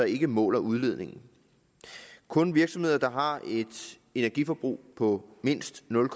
ikke måler udledningen kun virksomheder der har et energiforbrug på mindst nul